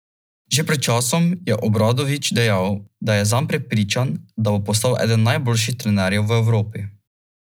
Že pred časom je Obradović dejal, da je zanj prepričan, da bo postal eden najboljših trenerjev v Evropi.